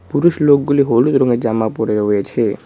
পুরুষ লোকগুলি হলুদ রঙের জামা পরে রয়েছে।